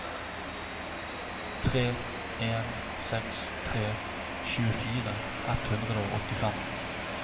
tre en seks tre tjuefire ett hundre og åttifem